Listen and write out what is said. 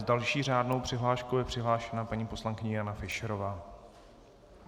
S další řádnou přihláškou je přihlášena paní poslankyně Jana Fischerová.